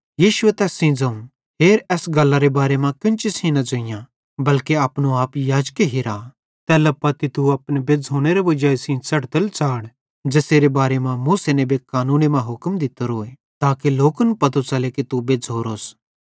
यीशुए तैस सेइं ज़ोवं हेर एस गल्लरे बारे मां केन्ची सेइं किछ न ज़ोइयां बल्के अपनो आप याजक हिरा तैल्ला पत्ती तू अपने बेज़्झ़ोनेरे वजाई सेइं च़ढ़तल च़ाढ़ ज़ेसेरे बारे मां मूसा नेबे कानूने मां हुक्म दित्तोरोए ताके लोकन पतो च़ले कि तू बेज्झ़ोरोस